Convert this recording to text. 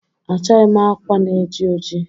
achọghị m akwa na-eji ojii